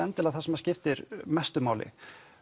það sem skiptir mestu máli